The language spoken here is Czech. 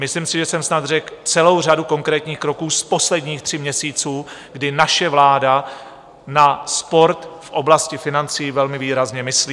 Myslím si, že jsem snad řekl celou řadu konkrétních kroků z posledních tří měsíců, kdy naše vláda na sport v oblasti financí velmi výrazně myslí.